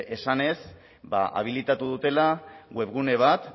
esanez habilitatu dutela webgune bat